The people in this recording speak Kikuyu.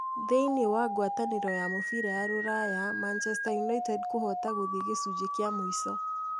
Thĩiniĩ wa gwatanĩro ya mũbira ya Ruraya, Manchester United kũhota gũthiĩ gĩcunjĩ kĩa mũico